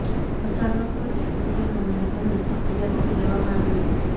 અચાનક ટેકનીકલ ખામીને કારણે પ્રક્રિયા રોકી દેવામાં આવી હતી